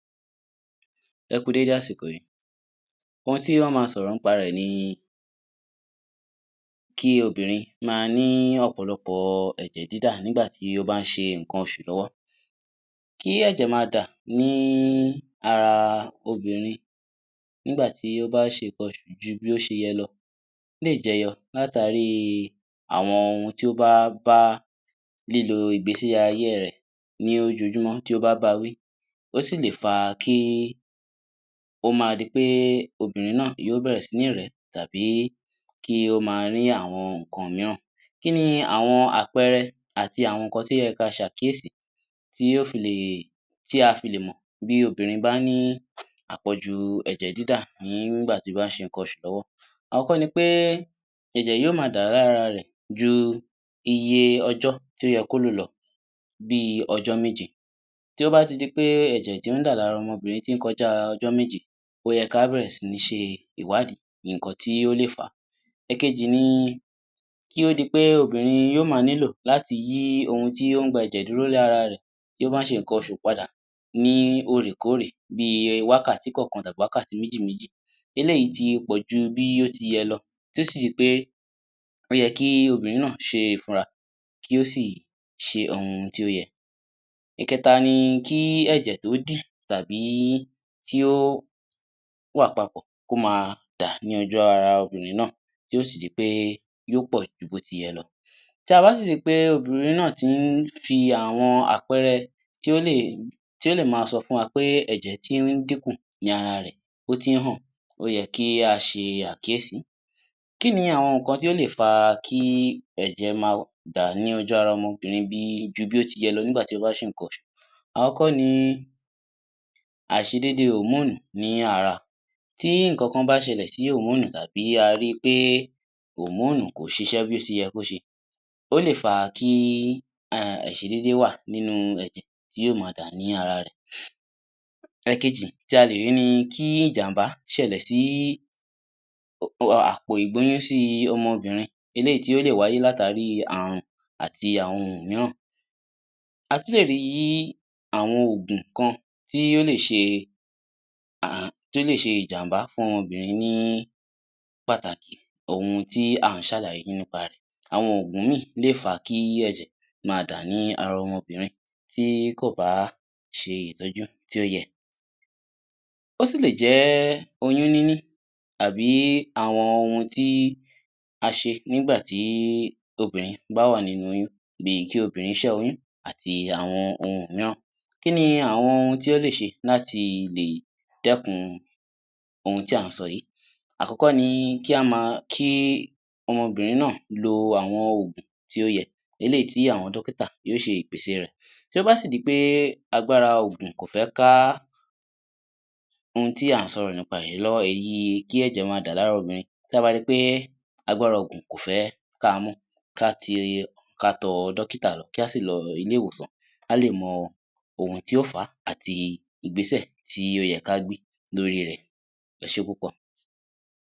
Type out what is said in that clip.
Ẹ kú dédé àsìkò yìí ohun tí a ó ma sọ̀rọ̀ nípa rẹ ni kí obìnrin ma ní ọ̀pọ̀lọpọ̀ ẹ̀jẹ̀ dídà nígbà tí ó bá ń ṣe nǹkan oṣù lọ́wọ́ kí ẹ̀jẹ̀ ma dà ní ara obìnrin nígbà tí ó bá ń ṣe nǹkan oṣù ju bí ó ṣe yẹ lọ lè jẹyọ látàrí àwọn ohun tí ó bá bá lílo ìgbésí ayé rẹ̀ ni ojojúmọ́ tí ó bá ba wí ó sì lè fa kí ó ma di pe obìnrin náà yóò bẹ̀rẹ̀ sí ní rẹ̀ tàbí kí ó ma rí àwọn nǹkan mìíràn kini àwọn àpẹẹrẹ àti àwọn nǹkan tí ó yẹ kí a ṣe àkíyèsí tí a fi lè tí a fi lè mọ̀ bí obìnrin báà ni àpọ̀jù ẹ̀jẹ̀ dídà nígbà tí ó bàa ń ṣe nǹkan oṣù lọ́wọ́ àkọ́kọ́ ni wí pé ẹ̀jẹ̀ yóò ma dà lára rẹ̀ ju iye ọjọ́ tí ó yẹ kó lò lọ bí ọjọ́ méje tí ó bá ti di pé ẹ̀jẹ̀ tí ń dà lára ọmọbìnrin tí ń kọjá ọjọ́ méje ó yẹ kí á bẹ̀rẹ̀ sì ǹ ṣe ìwádìí nǹkan tí ó lè fà ekejì ni kí o di pé obìnrin yóò ma ni lọ láti yí ohun tí ó n gba ẹ̀jẹ̀ dúró lára rẹ̀ tí bá ń ṣe nǹkan oṣù padà ní òrèkóòrè bíi wákàtí kan kan tàbí wákàtí méjì méjì eléyìí tí pọ̀jù bí ó ti yẹ lọ tí ó sì jẹ́ pé ó yẹ kí obìnrin náà ṣe ìfúra kí ó sì ṣe ohun tí ó yẹ ìkẹ́ta ni kí ẹ̀jẹ̀ tó dì tàbí kí ó wà papọ̀ kó ma dà lójú ní ojú ara obìnrin náà tí ó si di pé yóò pọ̀ ju bí ó ti yẹ lọ tabá sì rí pé obìnrin náà tí ń fi àwọn àpẹẹrẹ tó lè ma sọ fún wa pé ẹ̀jẹ̀ tí ń díkùn ni ara rẹ̀ ó tí ń hàn ó yẹ kí a ṣe àkíyèsí kíni àwọn nǹkan tí ó lè fa kí ẹ̀jẹ̀ ma dà ní ojú ara ọmọbìnrin ju bí ó ti yẹ lọ nígbà tí ó bá ń ṣe nǹkan oṣù àkọ́kọ́ ni àiṣédé [hormone] ni ara ti nǹkan kan bá ṣẹlẹ̀ sí [hormone] tàbí a rí pé [hormone] kò ṣiṣẹ́ bí kò ṣẹ ó lè fà kí àiṣédé wà nínú ẹ̀jẹ̀ tí yóò ma dá ní ara rẹ̀ ìkejì tí a lè rí ni kí ìjàmbá ṣẹlẹ̀ sí àpò ìgbóyúnsí ọmọbìnrin eléyìí tí ó lè wáyé látàrí àrùn àti àwọn ohun mìíràn a tún lè rí awọn oògùn kan tí ó lese ìjàmbá fún ọmọbìnrin ní pàtàkì òun ti a ń ṣe àlàyé nípa rẹ̀ àwọn òògùn lè fá kí ẹ̀jẹ̀ ma dà ní ara ọmọbìnrin tí kò bá ṣe ìtọ́jú tí ó yẹ ó sì lè jẹ́ oyún níní àbí àwọn ohun tí a ṣe nígbà tí obìnrin bá wà nínú oyún bíi kí obìnrin ṣe oyún àti àwọn ohun mìíràn kìkì àwọn ohun tí ó lè ṣe lati lè dẹ́ẹ̀kun ohun tí a ń sọ yìí àkọ̀kọ̀ ni kí ọmọbìnrin náà lo àwọn òògùn tí ó yẹ eléyìí tí àwọn dókítà yóò ṣe ìpèse rẹ̀ tó bá sì di pé agbára òògùn kò fẹ́ ká ohun tí a ń sọrọ̀ nípa lọ́wọ́ yìí ìyẹn kí ẹ̀jẹ̀ ma dà lára obìnrin tí a bá ri wí pé agbára òògùn kò fẹ́ ka mọ́ kí a tọ dókítà lọ kí a sì lọ ilé-ìwòsàn kí a lè mọ ohun tí ó fà á àti Ìgbésẹ̀ tí ó yẹ kí a gbé lórí rẹ̀ ẹ ṣe púpọ̀